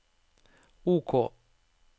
OK